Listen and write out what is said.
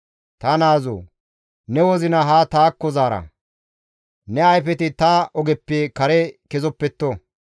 Ta naazoo! Ne wozina ha taakko zaara; ne ayfeti ta ogeppe kare kezoppetto.